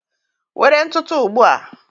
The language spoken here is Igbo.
Were ntụtụ ugbu a!